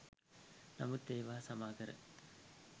නමුත් ඒවා සමා කර